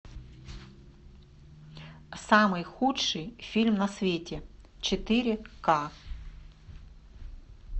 самый худший фильм на свете четыре ка